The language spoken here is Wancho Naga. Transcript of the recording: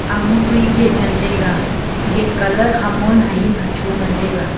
ama kui gate ngan taiga gate colour hamon hahing hacho ngan taiga.